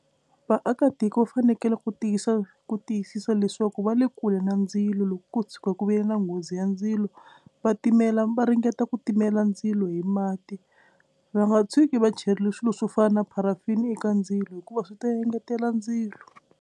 Vaakatiko va fanekele ku tiyisa ku tiyisisa leswaku va le kule na ndzilo loko ko tshuka ku ve na nghozi ya ndzilo va timela va ringeta ku timela ndzilo hi mati. Va nga tshuki va cherile swilo swo fana na pharafini eka ndzilo hikuva swi ta engetela ndzilo.